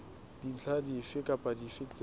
dintlha dife kapa dife tse